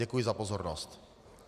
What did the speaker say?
Děkuji za pozornost.